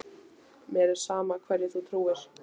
Mér er sama hverju þú trúir.